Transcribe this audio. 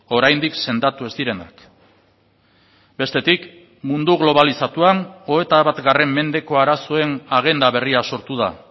oraindik sendatu ez direnak bestetik mundu globalizatuan hogeita bat mendeko arazoen agenda berria sortu da